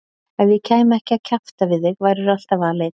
Ef ég kæmi ekki að kjafta við þig værirðu alltaf aleinn.